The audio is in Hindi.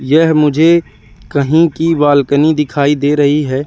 यह मुझे कहीं की बालकनी दिखाई दे रही हैं।